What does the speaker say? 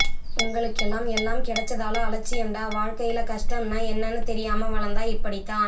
உங்களுக்கெல்லாம் எல்லாம் கெடைச்சதால அலட்சியம் டா வாழ்க்கையில கஸ்டம் னா என்னனு தெரியாம வளந்தா இப்படித்தான்